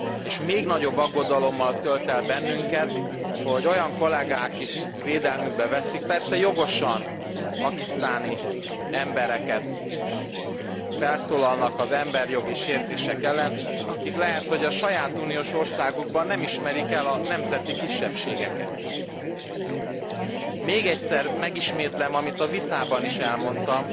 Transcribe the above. És még nagyobb aggodalommal tölt el bennünket, hogy olyan kollégák is védelmükbe veszik persze jogosan a pakisztáni embereket, felszólalnak az emberjogi sértések ellen, akik lehet, hogy a saját uniós országukban nem ismerik el a nemzeti kisebbségeket. Még egyszer megismétlem, amit a vitában is elmondtam,